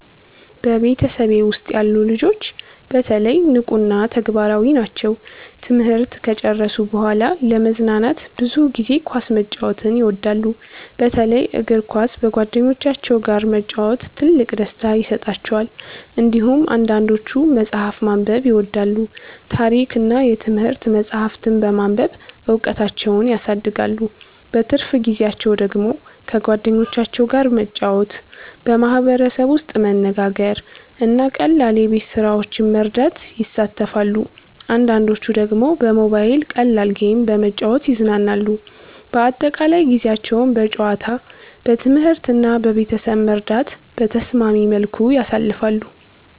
በቤተሰቤ ውስጥ ያሉ ልጆች በተለይ ንቁ እና ተግባራዊ ናቸው። ትምህርት ከጨረሱ በኋላ ለመዝናናት ብዙ ጊዜ ኳስ መጫወት ይወዳሉ፣ በተለይ እግር ኳስ በጓደኞቻቸው ጋር መጫወት ትልቅ ደስታ ይሰጣቸዋል። እንዲሁም አንዳንዶቹ መጽሐፍ ማንበብ ይወዳሉ፣ ታሪክ እና የትምህርት መጻሕፍት በማንበብ እውቀታቸውን ያሳድጋሉ። በትርፍ ጊዜያቸው ደግሞ ከጓደኞቻቸው ጋር መጫወት፣ በማህበረሰብ ውስጥ መነጋገር እና ቀላል የቤት ስራዎችን መርዳት ይሳተፋሉ። አንዳንዶቹ ደግሞ በሞባይል ቀላል ጌም በመጫወት ይዝናናሉ። በአጠቃላይ ጊዜያቸውን በጨዋታ፣ በትምህርት እና በቤተሰብ መርዳት በተስማሚ መልኩ ያሳልፋሉ።